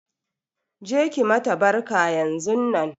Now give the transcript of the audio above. Je ki mata barka yanzunnan!